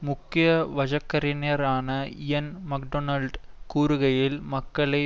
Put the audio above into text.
முக்கிய வழக்கறிஞரான Ian McDonald கூறுகையில் மக்களை